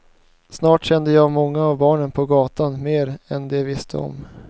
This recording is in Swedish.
Snart kände jag många av barnen på gatan mer än de visste om.